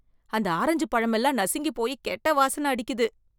அந்த ஆரஞ்சு பழமெல்லாம் நசுங்கி போயி கெட்ட வாசனை அடிக்குது.